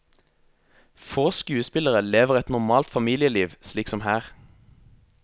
Få skuespillere lever et normalt familieliv, slik som her.